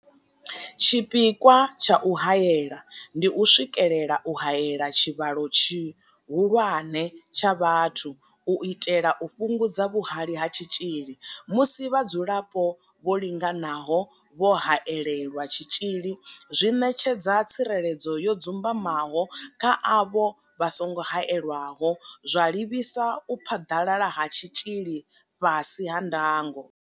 Tshipikwa tsha u haela ndi u swikelela u haela tshivhalo tshihulwane tsha vhathu u itela u fhungudza vhuhali ha tshitzhili, musi vhadzulapo vho linganaho vho haelelwa tshitzhili zwi ṋetshedza tsireledzo yo dzumbamaho kha avho vha songo haelwaho, zwa livhisa u phaḓalala ha tshitzhili fhasi ha ndango.